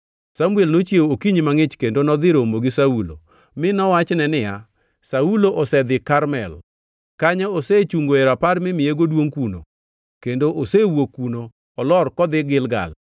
Samuel nochiew okinyi mangʼich kendo nodhi romo gi Saulo, mi nowachne niya, “Saulo osedhi Karmel. Kanyo osechungoe rapar mimiyego duongʼ kuno kendo osewuok kuno olor kodhi Gilgal.”